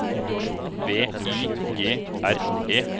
V I G R E